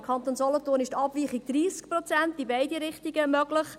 Im Kanton Solothurn ist eine Abweichung von 30 Prozent in beide Richtungen möglich.